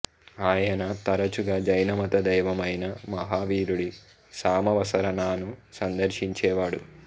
ఆయన తరచుగా జైనమత దైవం అయిన మహావీరుడి సామవసరణాను సందర్శించే వాడు